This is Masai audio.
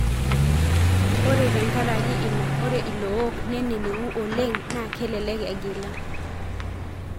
Ore tengaraki ina ore ilook nenenengu oleng na kelelek egila.